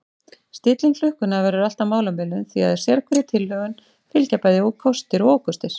Stilling klukkunnar verður alltaf málamiðlun því að sérhverri tilhögun fylgja bæði kostir og ókostir.